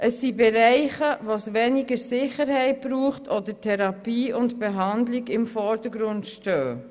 Es sind Bereiche, wo weniger Sicherheit nötig ist oder Therapie und Behandlung im Vordergrund stehen.